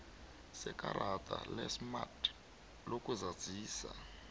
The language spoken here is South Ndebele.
sekarada lesmart lokuzazisa